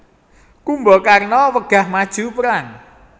Kumbakarna wegah maju perang